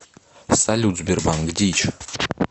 салют сбербанк дичь